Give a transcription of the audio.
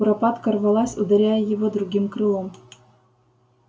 куропатка рвалась ударяя его другим крылом